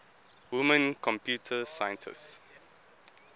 women computer scientists